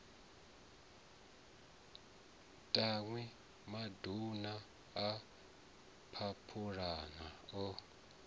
tanwi maduna a phaphulana o